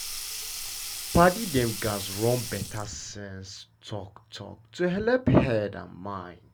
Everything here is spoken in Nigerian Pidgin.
padi dem gats run better sense talk-talk to helep head and mind.